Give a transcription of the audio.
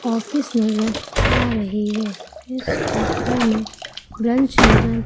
office नजर आ रही है इस फोटो में ब्रेंच नजर--